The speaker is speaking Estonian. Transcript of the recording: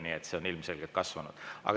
Kuid see on ilmselgelt kasvanud.